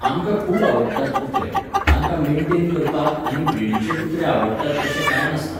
आमकां खूब आवडटात कुत्रे, तांकां मेनटेन करपाक आनी ब्रिडीचे कुत्रे आवडटात तशें काय नासता.